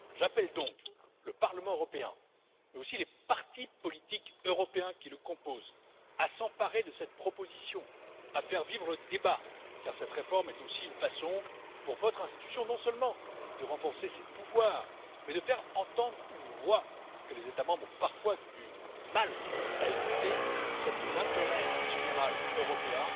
J'appelle donc le Parlement européen, mais aussi les partis politiques européens qui le composent, à s'emparer de cette proposition, à faire vivre le débat, car cette réforme est aussi une façon pour votre institution, non seulement de renforcer ses pouvoirs, mais de faire entendre une voix que les États membres ont parfois du mal à écouter, celle de l'intérêt général européen.